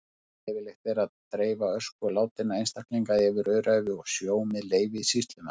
Leyfilegt er að dreifa ösku látinna einstaklinga yfir öræfi og sjó með leyfi sýslumanns.